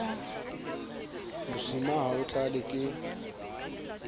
mosima ha o tlale ke